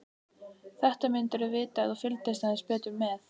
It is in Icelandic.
Þetta myndirðu vita ef þú fylgdist aðeins betur með.